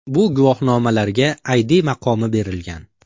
Bu guvohnomalarga ID maqomi berilgan.